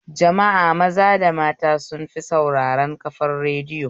Jama'a maza da mata sun fi sauraren kafar radiyo